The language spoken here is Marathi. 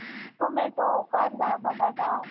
हम्म तुमचं शेतात आहे ना रे घर!